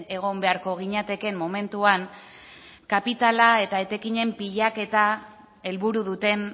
egon beharko ginatekeen momentuan kapitala eta etekinen pilaketa helburu duten